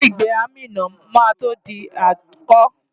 Ilé-ìgbé Amina máa tó di àtúnkọ́.